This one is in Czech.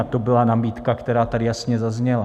A to byla nabídka, která tady jasně zazněla.